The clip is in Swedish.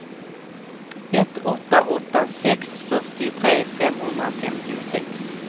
ett åtta åtta sex fyrtiotre femhundrafemtiosex